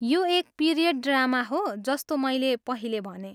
यो एक period drama हो, जस्तो मैले पहिले भनेँ।